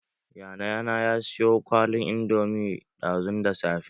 Yayana ya saya kwalin indomi ɗazun da safe.